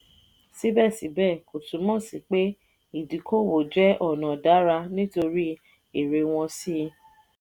síbẹ̀síbẹ̀ kò túmọ̀ sí pé ìdíkòwò jẹ́ ọ̀nà dára nítorí èrè wọn sí.